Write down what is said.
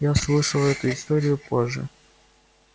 я услышала эту историю позже